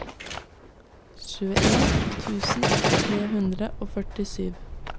tjueen tusen tre hundre og førtisju